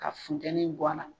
Ka funteni bɔ a la.